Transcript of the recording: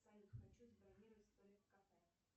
салют хочу забронировать столик в кафе